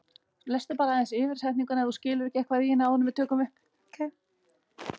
Snúið sér að annarri neyð, vafalaust stærri.